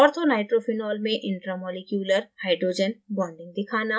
orthonitrophenol में intramolecular hydrogen bonding दिखाना